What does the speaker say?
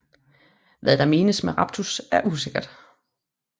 Hvad der menes med raptus er usikkert